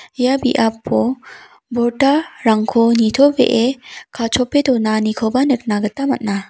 ia biapo borda rangko nitobee kachope donanikoba nikna gita man·a.